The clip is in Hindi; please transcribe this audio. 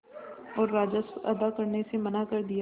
और राजस्व अदा करने से मना कर दिया